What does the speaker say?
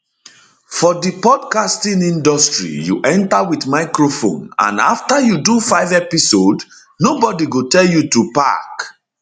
for di podcasting industry you enta wit microphone and afta you do five episodes nobodi go tell you to pack